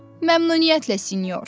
Məmnuniyyətlə sinyor.